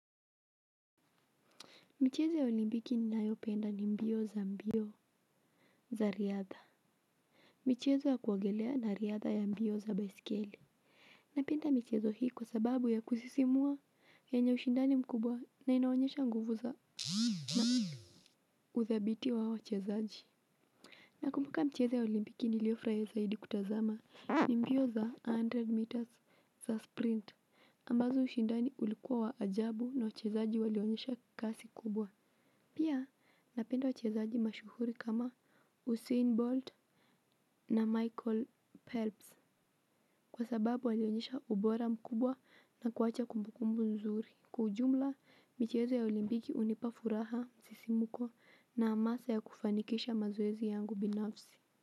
Michezo ya olimpiki ninayopenda ni mbio za mbio za riadha michezo ya kuogelea na riadha ya mbio za baisikeli napenda michezo hii kwa sababu ya kusisimua yenye ushindani mkubwa na inaonyesha nguvu za na uthabiti wa wachezaji nakumbuka michezo ya olimpiki niliofurahia zaidi kutazama ni mbio za hundred meters za sprint ambazo ushindani ulikuwa wa ajabu na wachezaji walionyesha kasi kubwa pia, napenda wachezaji mashuhuri kama Usain Bolt na Michael Pelps kwa sababu walionyesha ubora mkubwa na kuwacha kumbukumbu nzuri. Kwa ujumla, michezo ya olimpiki hunipa furaha, msisimko na hamasa ya kufanikisha mazoezi yangu binafsi.